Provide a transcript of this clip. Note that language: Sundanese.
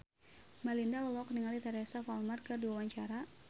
Melinda olohok ningali Teresa Palmer keur diwawancara